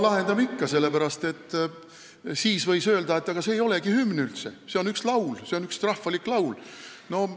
Lahendame ikka, sellepärast et siis võis öelda, et see ei olegi üldse hümn – see on üks rahvalik laul.